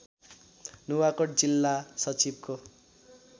नुवाकोट जिल्ला सचिवको